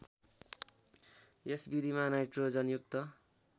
यस विधिमा नाइट्रोजनयुक्त